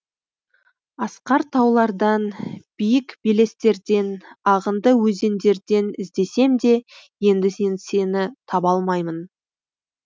асқар таулардан биік белестерден ағынды өзендерден іздесем де енді сені таба алмаймын